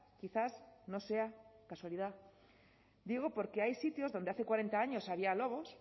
quizás no sea casualidad digo porque hay sitios donde hace cuarenta años había lobos